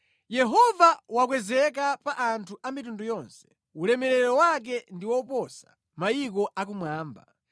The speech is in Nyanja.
Yehova wakwezeka pa anthu a mitundu yonse, ulemerero wake ndi woposa mayiko akumwamba.